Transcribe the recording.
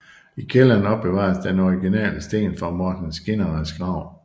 I kælderen opbevares den originale sten fra Mårten Skinnares grav